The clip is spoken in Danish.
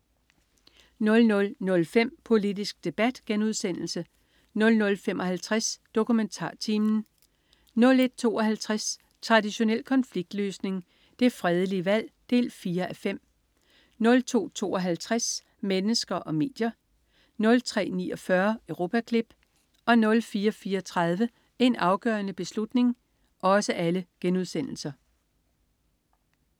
00.05 Politisk debat* 00.55 DokumentarTimen* 01.52 Traditionel konfliktløsning. Det fredelige valg 4:5* 02.52 Mennesker og medier* 03.49 Europaklip* 04.34 En afgørende beslutning*